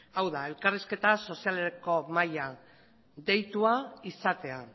hau da elkarrizketa sozialerako mahaia deitua izatea